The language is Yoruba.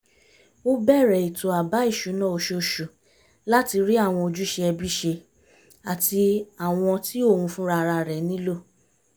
ó bẹ̀rẹ̀ ètò àbá ìṣúná oṣooṣù láti rí àwọn ojúṣe ẹbí ṣe àti àwọn tí òun fúnra rẹ̀ nílò